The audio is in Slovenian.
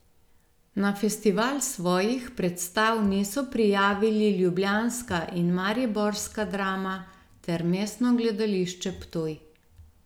Na festival svojih predstav niso prijavili ljubljanska in mariborska Drama ter Mestno gledališče Ptuj.